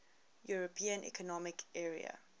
european economic area